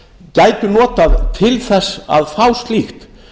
gætu notað til þess að fá slíkt